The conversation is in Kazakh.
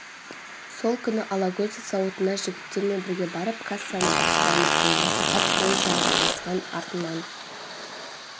сол күні алагөзов зауытына жігіттермен бірге барып кассаны басып алмақ болған сағат бойы жанжалдасқан артынан